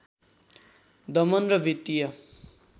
दमन र वित्तीय